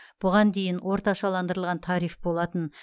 бұған дейін орташаландырылған тариф болатын